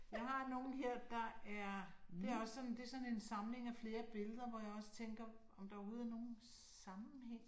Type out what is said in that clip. Jeg har nogen her, der er det er også sådan det er sådan en samlig af flere billeder, hvor jeg også tænker om der overhovedet er nogen sammenhæng